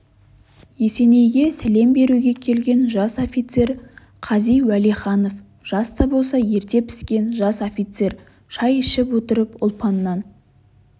есенейге сәлем беруге келген жас офицер қази уәлиханов жас та болса ерте піскен жас офицер шай ішіп отырып ұлпаннан